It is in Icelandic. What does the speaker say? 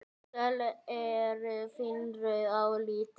Söl eru vínrauð á litinn.